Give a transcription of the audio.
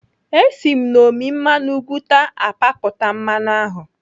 Esi m n'ọmị mmanụ ugwuta apapụta mmanụ ahụ.